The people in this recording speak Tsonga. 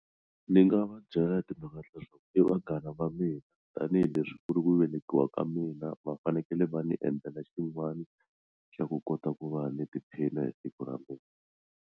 Ni nga va byela timhaka ta leswaku i vanghana va mina tanihileswi ku ri ku velekiwa ka mina va fanekele va ni endlela xin'wani xa ku kota ku va ni tiphina hi siku ra mina.